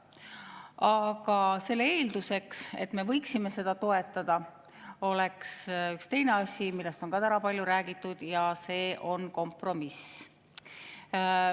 Aga selle eelduseks, et me võiksime seda toetada, oleks üks teine asi, millest on ka täna palju räägitud, ja see on kompromiss.